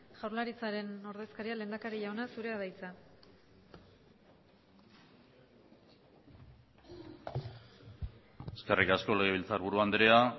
jaurlaritzaren ordezkaria lehendakari jauna zurea da hitza eskerrik asko legebiltzarburu andrea